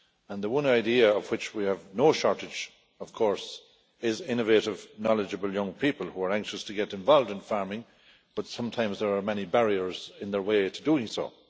The one idea of which we have no shortage, of course, is of innovative, knowledgeable young people who are anxious to get involved in farming, but sometimes there are many barriers in their way to doing so.